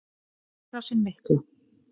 Innrásin mikla.